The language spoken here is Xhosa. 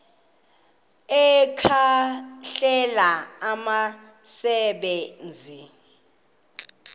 ekhangela abasebe nzi